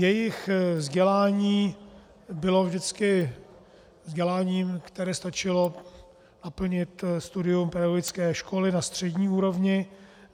Jejich vzdělání bylo vždycky vzděláním, které stačilo naplnit studium pedagogické školy na střední úrovni.